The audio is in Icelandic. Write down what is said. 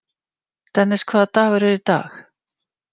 Dennis, hvaða dagur er í dag?